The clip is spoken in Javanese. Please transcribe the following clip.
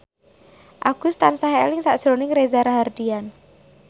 Agus tansah eling sakjroning Reza Rahardian